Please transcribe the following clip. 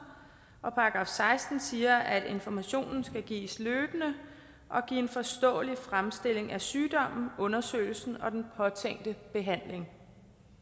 og § seksten siger at information skal gives løbende og give en forståelig fremstilling af sygdommen undersøgelsen og den påtænkte behandling